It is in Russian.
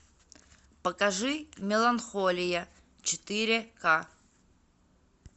покажи меланхолия четыре ка